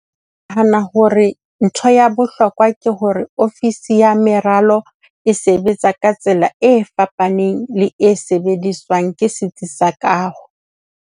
Nahana hore ntho ya bohlokwa ke hore ofisi ya meralo e sebetsa ka tsela e fapaneng le e sebediswang ke setsi sa kaho.